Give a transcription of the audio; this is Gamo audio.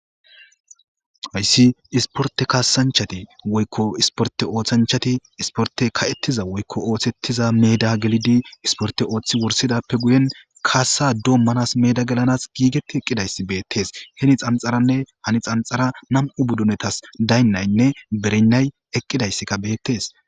Hayssi isporte kaasanchati woykko isporte ooththanchati isporte ka7ettiza woykko ooththettiza meeda gelidi isporte ooththi wursidappe guyen kaasa doommanas meeda gelanas giigeti eqqidayssi beettes heni xanxaranne hani xanxara nam7u buddunetas daynnaynne berinnay eqqidayssika beettes.